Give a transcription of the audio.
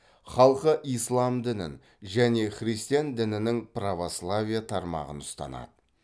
халқы ислам дінін және христиан дінінің православие тармағын ұстанады